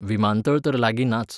विमानतळ तर लागीं नाच.